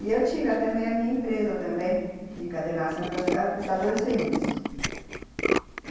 E eu tive também a minha minha empresa de encadernação e classificação de emprestador de serviço.